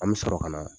An bɛ sɔrɔ ka na